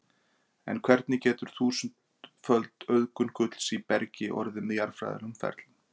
En hvernig getur þúsundföld auðgun gulls í bergi orðið með jarðfræðilegum ferlum?